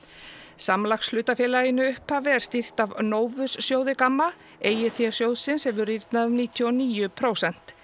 samlagshlutafélaginu upphafi er stýrt af sjóði Gamma eigið fé sjóðsins hefur rýrnað um níutíu og níu prósent